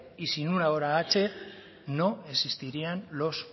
y sin una hora h no existirían los